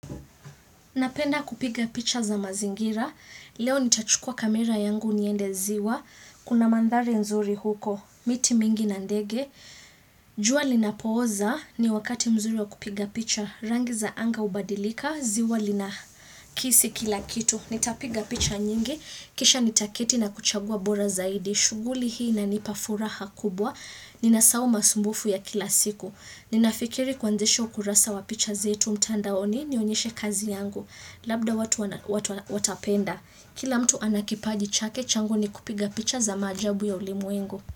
Napenda kupiga picha za mazingira, leo nitachukua kamera yangu niende ziwa, kuna mandhari nzuri huko, miti mingi na ndege. Jua linapooza ni wakati mzuri wa kupiga picha, rangi za anga ubadilika, ziwa lina kisi kila kitu. Nitapiga picha nyingi, kisha nitaketi na kuchagua bora zaidi, shughuli hii inanipa furaha kubwa, nina sahau masumbufu ya kila siku. Ninafikiri kuanzisha kurasa wa picha zetu mtandaoni nionyeshe kazi yangu Labda watu watapenda Kila mtu ana kipaji chake changu ni kupiga picha za maajabu ya ulimwengu.